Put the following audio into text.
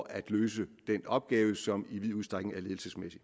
at løse den opgave som i vid udstrækning er ledelsesmæssig